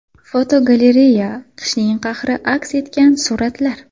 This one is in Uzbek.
Fotogalereya: Qishning qahri aks etgan suratlar.